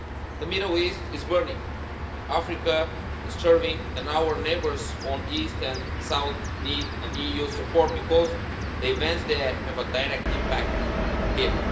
The Middle East is burning, Africa is starving and our neighbours on east and south need EU support because the events there have a direct impact here.